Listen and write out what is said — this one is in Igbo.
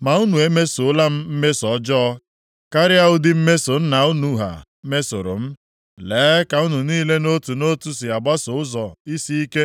Ma unu emesoola m mmeso ọjọọ karịa ụdị mmeso nna unu ha mesoro m. Lee ka unu niile nʼotu nʼotu si agbaso ụzọ isiike